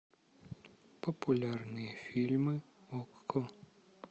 популярные фильмы окко